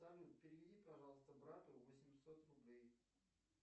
салют переведи пожалуйста брату восемьсот рублей